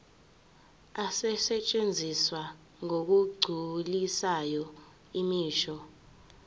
asetshenziswa ngokugculisayo imisho